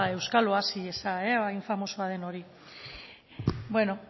euskal oasia hain famosoa den hori beno